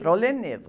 Para.